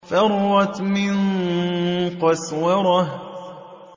فَرَّتْ مِن قَسْوَرَةٍ